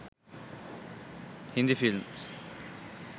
hindi films